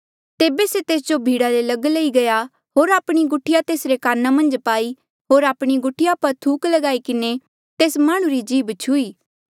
तेबे से तेस्जो भीड़ा ले लग लई गया होर आपणी गुठिया तेसरे काना मन्झ पाई होर आपणी गुठिया पर थूक लगाई किन्हें तेस माह्णुं री जीभ छुही